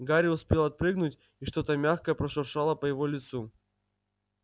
гарри успел отпрыгнуть и что-то мягкое прошуршало по его лицу